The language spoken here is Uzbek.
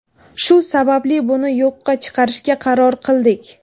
Shu sababli buni yo‘qqa chiqarishga qaror qildik.